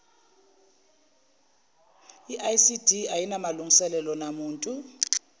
icd ayinamalungiselelo namuntu